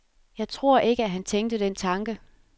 Jeg tror ikke, at han tænkte den tanke.